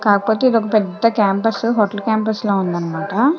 కాకపోతే ఇది ఒక పెద్ద క్యాంపస్ హోటల్ క్యాంపస్ లా ఉందన్నమాట.